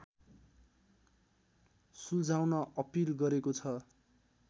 सुल्झाउन appeal गरेको छ